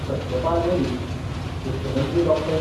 सत्यपाल मलीक, मुख्यमंत्री डॉ.